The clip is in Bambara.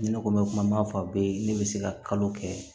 Ni ne ko mɛ kuma m'a fɔ a bɛ ne bɛ se ka kalo kɛ